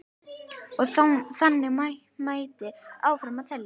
Og þannig mætti áfram telja.